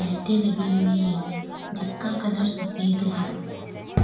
लाइटे लगी हुई है जिसका कलर सफेद है।